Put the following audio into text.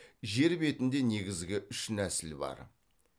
жер бетінде негізгі үш нәсіл бар